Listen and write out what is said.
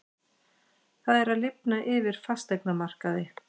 Það er að lifna yfir fasteignamarkaði